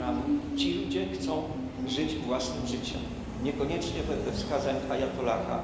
Iranu. Ci ludzie chcą żyć własnym życiem, niekoniecznie wedle wskazań ajatollaha.